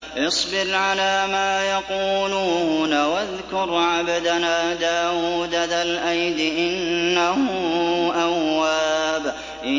اصْبِرْ عَلَىٰ مَا يَقُولُونَ وَاذْكُرْ عَبْدَنَا دَاوُودَ ذَا الْأَيْدِ ۖ إِنَّهُ أَوَّابٌ